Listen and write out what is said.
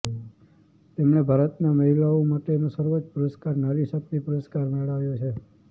તેમણે ભારતમાં મહિલાઓ માટેનો સર્વોચ્ચ પુરસ્કાર નારી શક્તિ પુરસ્કાર મેળવ્યો છે